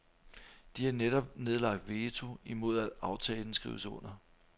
De har netop nedlagt veto imod at aftalen skrives under.